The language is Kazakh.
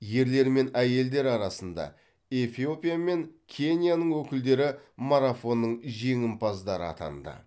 ерлер мен әйелдер арасында эфиопия мен кенияның өкілдері марафонның жеңімпаздары атанды